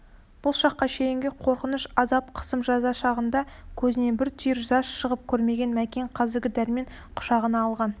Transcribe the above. бұл шаққа шейінгі қорқыныш азап қысым-жаза шағында көзінен бір түйір жас шығып көрмеген мәкен қазір дәрмен құшағына алған